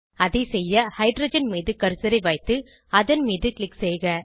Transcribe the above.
அதை செய்ய ஹைட்ரஜன் மீது கர்சரை வைத்து அதன் மீது க்ளிக் செய்க